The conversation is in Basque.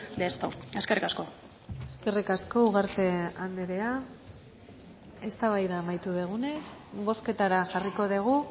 de esto eskerrik asko eskerrik asko ugarte andrea eztabaida amaitu dugunez bozketara jarriko dugu